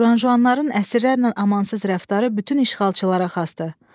Jan-juanların əsrlərlə amansız rəftarı bütün işğalçılara xasdır.